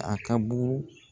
A ka bugugu